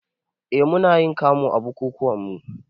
Eh munayin kamu a bukukuwanmu